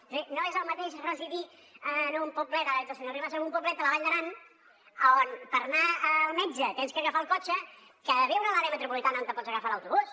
és a dir no és el mateix residir en un poblet ara que veig al senyor rivas de la vall d’aran a on per anar al metge has d’agafar el cotxe que viure a l’àrea metropolitana a on pots agafar l’autobús